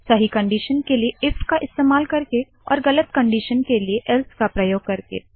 सही कंडिशन के लिए इफ का इस्तेमाल करके और गलत कंडिशन के लिए एल्से का प्रयोग करके